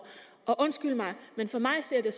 og undskyld mig men for mig ser